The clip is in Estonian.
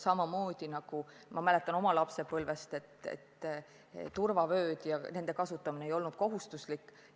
Ma mäletan oma lapsepõlvest aega, kui turvavööde kasutamine ei olnud kohustuslik.